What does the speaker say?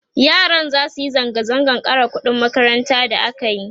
yaran zasu Yi zanga zangan ƙara ƙuɗin makaranta da akayi